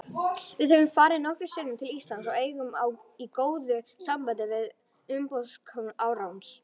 Við höfum farið nokkrum sinnum til Íslands og eigum í góðu sambandi við umboðsskrifstofu Arons.